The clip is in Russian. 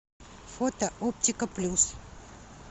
фото оптика плюс